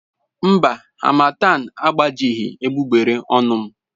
Mba, harmattan agbajighị egbugbere ọnụ m.